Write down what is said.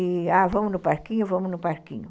E, ah, vamos no parquinho, vamos no parquinho.